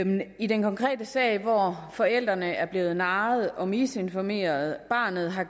i den konkrete sag hvor forældrene er blevet narret og misinformeret og barnet har